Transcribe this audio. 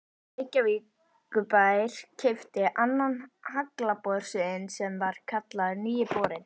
Reykjavíkurbær keypti annan haglabor sinn sem var kallaður Nýi borinn.